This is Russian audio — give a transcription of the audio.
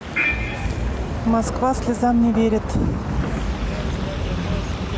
москва слезам не верит